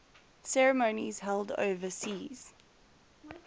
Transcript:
ceremonies held overseas